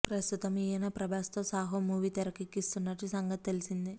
ప్రస్తుతం ఈయన ప్రభాస్ తో సాహో మూవీ తెరకెక్కిస్తున్న సంగతి తెల్సిందే